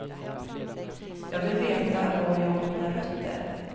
Jag vill veta var jag har mina rötter.